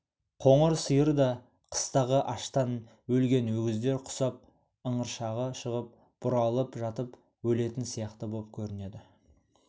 қоңыр сиыр да қыстағы аштан өлген өгіздер құсап ыңыршағы шығып бұралып жатып өлетін сияқты боп көрінеді